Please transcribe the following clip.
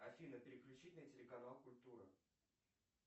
афина переключи на телеканал культура